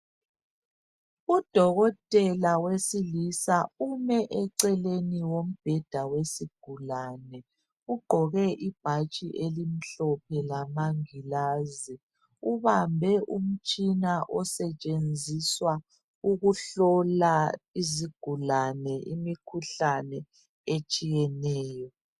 Udokotela wesilisa ume eceleni kombheda wesigulane, ugqoke ibhatshi elimhlophe lamangilazi. Ubambe umtshina osetshenziswa ukuhlola izigulane imikhuhlane etshiyeneyo.